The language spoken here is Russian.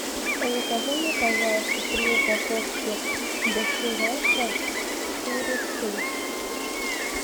закажи мне пожалуйста три упаковки доширака с курицей